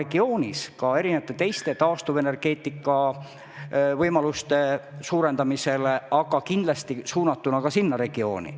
See on ette nähtud ka taastuvenergeetika võimaluste suurendamiseks ning on kindlasti suunatud ka sellesse regiooni.